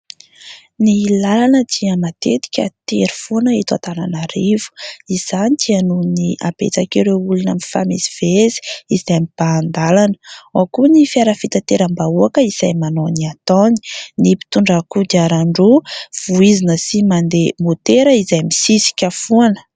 Ny lalana dia matetika tery foana eto Antananarivo. Izany dia noho ny habetsak'ireo olona mifamezivezy izay mibahan-dalana. Ao koa ny fiara fitateram-bahoaka izay manao ny ataony ; ny mpitondra kodiaran-droa voizina sy mandeha môtera izay misisika foana.